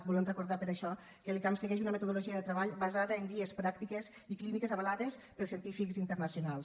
volem recordar per això que l’icam segueix una metodologia de treball basada en guies pràctiques i clíniques avalades per científics internacionals